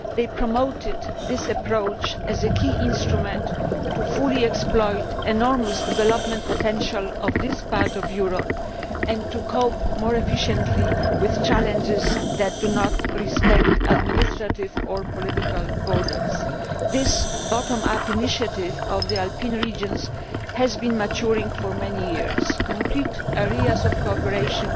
They promoted this approach as a key instrument to fully exploit the enormous development potential of this part of Europe and to cope more efficiently with challenges that do not respect administrative or political borders. This bottom up initiative by the Alpine regions has been maturing for many years. Specific areas of cooperation